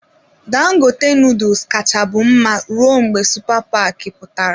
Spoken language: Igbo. Dangote noodles kacha bụ mma rụọ mgbe supa paki pụtara.